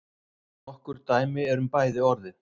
Nokkur dæmi eru um bæði orðin.